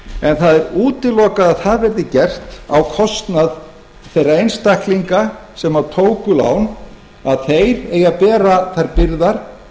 en það er útilokað að það verði gert á kostnað þeirra einstaklinga sem tóku lán að þeir eigi að bera þær byrðar